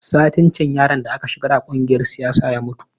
Satin can yaron da aka shigar a kungiyar siyasa ya mutu